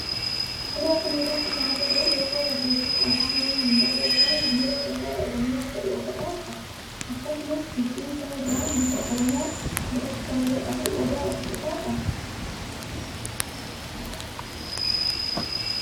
Suuraa kana irratti kan agarru loogoo barreeffama afaan oromoon barreeffame biiroo daldalaa oromiyaa jedhu of irraa qaba. Akkasumas gidduu isaa irraa muka oromoo biratti kabaja qabu odaa of irraa qaba.